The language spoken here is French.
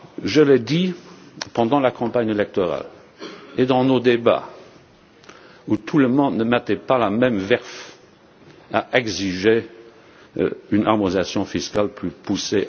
Je l'ai dit pendant la campagne électorale et pendant nos débats, où tout le monde ne mettait pas la même verve à exiger une harmonisation fiscale plus poussée.